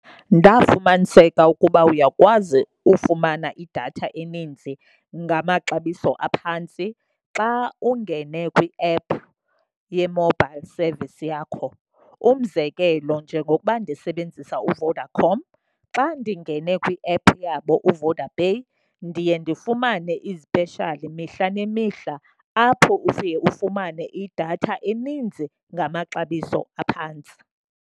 Ndafumaniseka ukuba uyakwazi ufumana idatha eninzi ngamaxabiso aphantsi xa ungene kwiephu ye-mobile service yakho. Umzekelo njengokuba ndisebenzisa uVodacom, xa ndingene kwiephu yabo uVodapay ndiye ndifumane izipeshali mihla nemihla. Apho ufike ufumane idatha eninzi ngamaxabiso aphantsi.